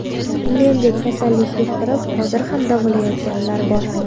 Mendek kasallik yuqtirib, hozir ham davolanayotganlar bor.